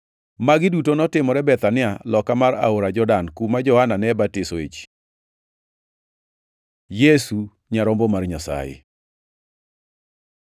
Magi duto notimore Bethania, loka mar aora Jordan, kuma Johana ne batisoe ji. Yesu nyarombo mar Nyasaye